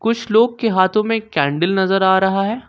कुछ लोग के हाथों में कैंडल नजर आ रहा है।